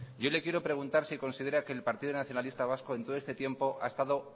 yo le quiero preguntar si considera que el partido nacionalista vasco en todo este tiempo ha estado